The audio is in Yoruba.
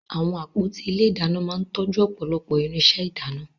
Àwọn àpótí ilé ìdáná máa ń tọ́jú ọ̀pọ̀lọpọ̀ irinṣẹ́ ìdáná